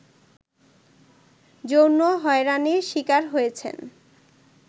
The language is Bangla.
যৌন হয়রানির শিকার হয়েছেন